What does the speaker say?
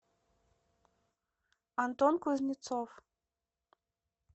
антон кузнецов